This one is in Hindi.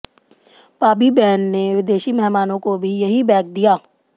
पाबीबेन ने विदेशी मेहमानों को भी यही बैग दिया